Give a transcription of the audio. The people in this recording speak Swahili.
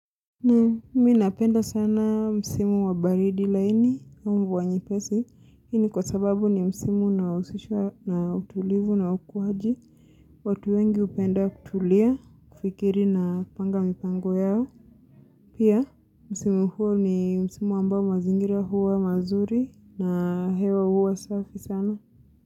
Na minapenda sana msimu wa baridi laini na mvua nyepesi. Hii ni kwa sababu ni msimu unaohusishwa na utulivu na ukuaji. Watu wengi hupenda kutulia kufikiri na kupanga mipango yao. Pia msimu huo ni msimu ambao mazingira huwa mazuri na hewa huwa safi sana.